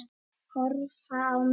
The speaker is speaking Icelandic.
Horfa á mynd